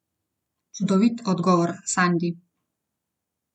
Čudovit odgovor, Sandi!